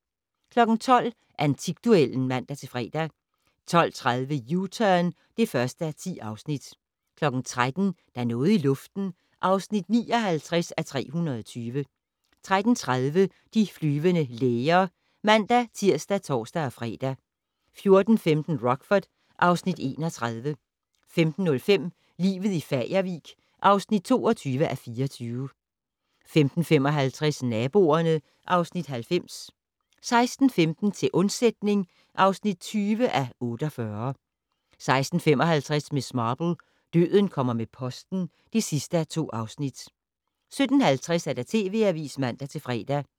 12:00: Antikduellen (man-fre) 12:30: U-Turn (1:10) 13:00: Der er noget i luften (59:320) 13:30: De flyvende læger (man-tir og tor-fre) 14:15: Rockford (Afs. 31) 15:05: Livet i Fagervik (22:24) 15:55: Naboerne (Afs. 90) 16:15: Til undsætning (20:48) 16:55: Miss Marple: Døden kommer med posten (2:2) 17:50: TV Avisen (man-fre)